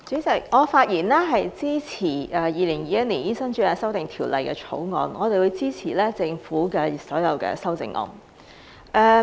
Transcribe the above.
代理主席，我發言支持《2021年醫生註冊條例草案》，也會支持政府所有的修正案。